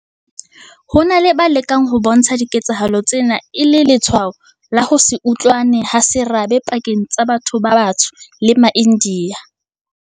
Ho na le ba lekang ho bontsha diketsahalo tsena e le letshwao la ho se utlwane ha serabe pakeng tsa batho ba batsho le maIndiya.